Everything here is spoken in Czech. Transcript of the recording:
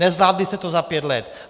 Nezvládli jste to za pět let!